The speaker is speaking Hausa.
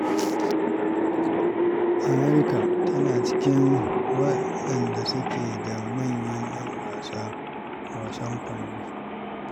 Amurka na cikin wadanda suke da manyan ‘yan wasa a wasan kwando.